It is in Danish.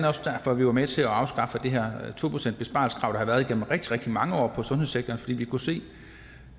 også derfor vi var med til at afskaffe det her to procentsbesparelseskrav der i rigtig rigtig mange år i sundhedssektoren vi kunne se